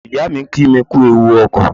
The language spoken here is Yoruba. Ìyáà mi kí mi kú ewu ọkọ̀.